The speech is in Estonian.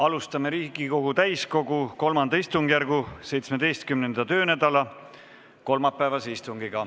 Alustame Riigikogu täiskogu III istungjärgu 17. töönädala kolmapäevast istungit.